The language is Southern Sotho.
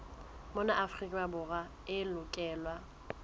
mona afrika borwa e lokelwa